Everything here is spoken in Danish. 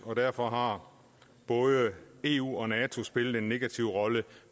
og derfor har både eu og nato spillet en negativ rolle